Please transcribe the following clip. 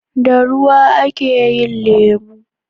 da ruwa a ke lemo